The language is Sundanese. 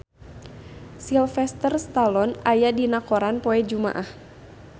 Sylvester Stallone aya dina koran poe Jumaah